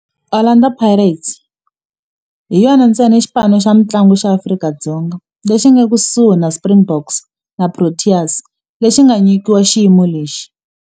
Orlando Pirates hi yona ntsena xipano xa mintlangu xa Afrika-Dzonga lexi nga ekusuhi na Springboks na Proteas lexi nga nyikiwa xiyimo lexi.